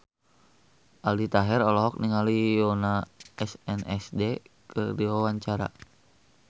Aldi Taher olohok ningali Yoona SNSD keur diwawancara